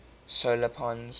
solar pons